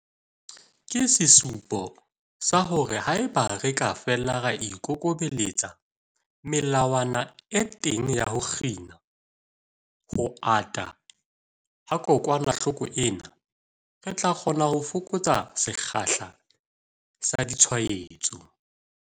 Ke sesupo sa hore haeba re ka fela ra ikokobeletsa melawana e teng ya ho kgina ho ata ha kokwanahloko ena, re tla kgona ho fokotsa sekgahla sa ditshwaetso.